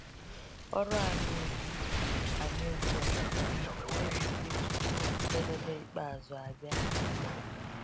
Ọrụ anyị ugbu anyị ugbu a ga-emezurịrị tupu njedebe ikpeazụ abịa.